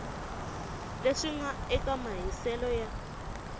leswi nga eka mahiselo ya